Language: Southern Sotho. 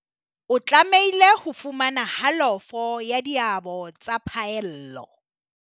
o tlamehile ho fumana halofo ya diabo tsa phaello.